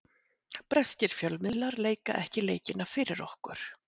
Breskir fjölmiðlar leika ekki leikina fyrir okkur.